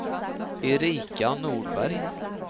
Erika Nordberg